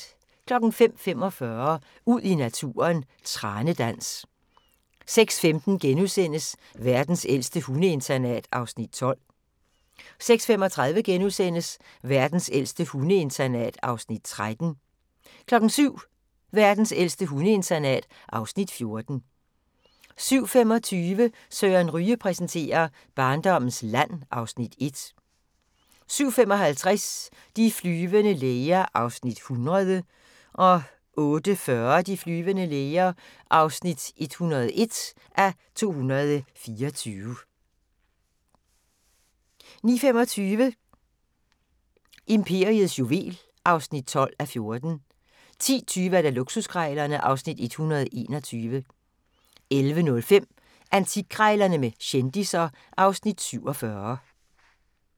05:45: Ud i naturen: Tranedans 06:15: Verdens ældste hundeinternat (Afs. 12)* 06:35: Verdens ældste hundeinternat (Afs. 13)* 07:00: Verdens ældste hundeinternat (Afs. 14) 07:25: Søren Ryge præsenterer: Barndommens land (Afs. 1) 07:55: De flyvende læger (100:224) 08:40: De flyvende læger (101:224) 09:25: Imperiets juvel (12:14) 10:20: Luksuskrejlerne (Afs. 121) 11:05: Antikkrejlerne med kendisser (Afs. 47)